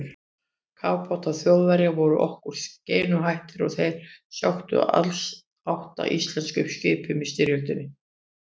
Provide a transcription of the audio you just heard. Kafbátar Þjóðverja voru okkur skeinuhættir og þeir sökktu alls átta íslenskum skipum í styrjöldinni.